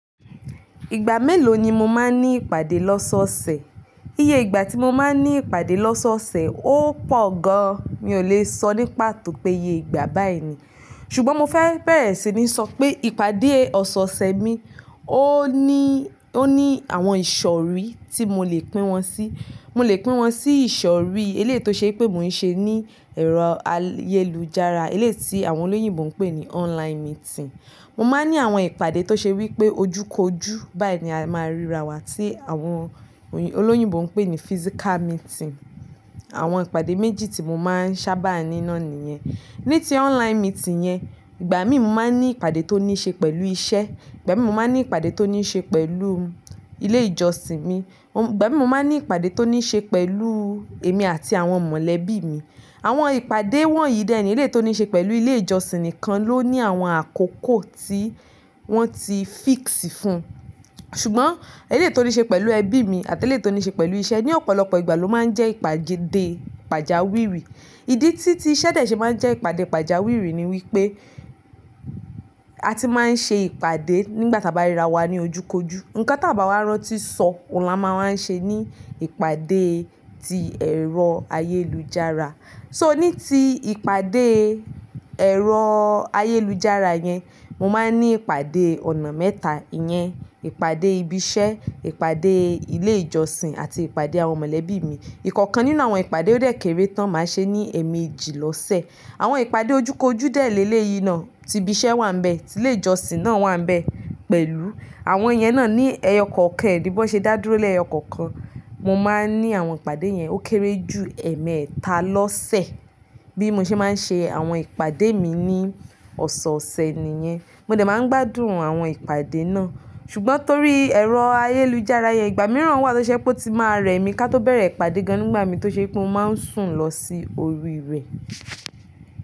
Ìgbà mélòó ni mo máa ń ní ìpàdé lọ́sọ̀ọ̀sẹ̀? Iye ìgbà tí mo máa ń ní ìpàdé lọ́sọ̀ọ̀sẹ̀ ó pọ̀ gan. Mi ò lè sọ ní patò pé iye ìgbà báyìí ni. Ṣùgbọ́n mo fẹ́ bẹ̀rẹ̀ sí ní sọ pé ìpàdé ọ̀sọ̀ọ̀sẹ̀ mi ó ní, ó ní àwọn ìṣọ̀rí tí mo lè pín wọn sí. Mo lè pín wọn sí ìṣọ̀rí eléyìí tí ṣe pé mò ń ṣe ní ẹ̀rọ ayélujára, eléyìí tí àwọn olóyìnbo ń pè ní online meeting. Mo máa ń ní àwọn ìpàdé tó ṣe wí pé ojú kojú, báyìí ni a máa ríra wa tí àwọn oyin- olóyìnbo ń pè ní physical meeting. Àwọn ìpàdé méjì tí mo máa ń sábà ní náá nìyẹn. Ní ti online meeting yẹn, ìgbà míì mo máa ń ní ìpàdé tó ní ṣe pẹ̀lú iṣẹ́, ìgbà míì mo máa ń ní ìpàdé tó ní ṣe pẹ̀lú ilé ìjọsìn mi, ìgbà míì mo máa ń ní ìpàdé tó ní ṣe pẹ̀lú èmi àti àwọn mọ̀lẹ́bí mi. Àwọn ìpàdé wọ̀nyí dẹ̀ ẹni eléyìí to ní ṣe pẹ̀lú ilé ìjọsìn nìkan ló ní àwọn àkókò tí wọ́n ti fix fún. Ṣùgbọ́n eléyìí to ní ṣe pẹ̀lú ẹbí mi àti eléyìí to ní ṣe pẹ̀lú iṣẹ́ ní ọ̀pọ̀lọpọ̀ ìgbà ló máa ń jẹ́ ìpàdé pàjáwìrí. Ìdí tí tí iṣẹ́ dẹ̀ ṣe máa ń jẹ́ ìpàdé pàjáwìrí ni wípé a ti máa ń ṣe ìpàdé nígbàtí a bá ríra wa ní ojú kojú. Nǹkan táa bàá wá rán tí sọ, òhun la máa wá ń ṣe ní ìpàdé ti ẹ̀rọ ayélujára. So ní ti ìpàdé ẹ̀rọ ayélujára yẹn, mo máa ń ní ìpàdé ọ̀nà mẹ́ta. Íyẹn ìpàdé ibi iṣẹ́, ìpàdé ilé ìjọsìn àti ìpàdé àwọn mọ̀lẹ́bí mi. Ìkọ̀kan nínú àwọn ìpàdé ó dẹ̀ kéré tán màá ṣe ní ẹ̀ẹ̀mẹjì lọ́sẹ̀. Àwọn ìpàdé ojú kojú dẹ̀ léleyìí náà, tí ibi iṣẹ́ wà níbẹ̀, tí ilé ìjọsìn náà wà níbẹ̀ pẹ̀lú. Àwọn ìyẹn náà ní ẹyọ kọ̀ọ̀kan ẹ̀ ní bón ṣe dá dúró lé ẹyọ kọ̀ọ̀kan, mo máa ń ní àwọn ìpàdé yẹn ó kéré ju ẹ̀ẹ̀mẹ́ta lọ́sẹ̀. Bí mo ṣe máa ń ṣe àwọn ìpàdé mi ní ọ̀sọ̀ọ̀sẹ̀ nìyẹn. Mo dẹ̀ máa ń gbádùn àwọn ìpàdé náà. Ṣùgbọ́n torí ẹ̀rọ ayélujára yẹn ìgbà mìíràn wà tó ṣe pé ó ti máa rẹ̀ mí ká tó bẹ̀rẹ̀ ìpàdé gan nígbà mí tó ṣe pé mo máa ń sùn lọ sí orí rẹ̀.